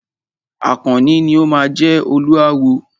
Àkànní ni o máa jẹ Olúawo.